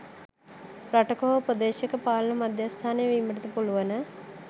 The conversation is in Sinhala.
රටක හෝ ප්‍රදේශයක පාලන මධ්‍යස්ථානය වීමටද පුළුවන